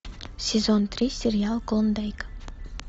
сезон три сериал клондайк